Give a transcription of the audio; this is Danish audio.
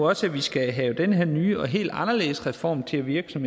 også at vi skal have den her nye og helt anderledes reform til at virke jeg